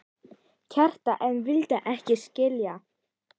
Kjartan en vildi ekki skilja.